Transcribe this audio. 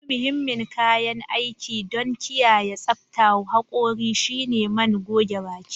Wani muhimmin kayan aiki don kiyaye tsaftar hakori shine man goge baki.